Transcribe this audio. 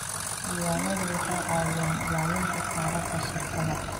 Diiwaanadu waxay caawiyaan ilaalinta taariikhda shirkadda.